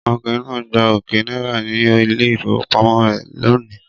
Ọkùnrin náà gba ọ̀kẹ́ náírà ní ilé-ìfowópamọ́sí rẹ̀ lónìí.